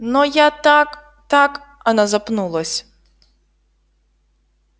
но я так так она запнулась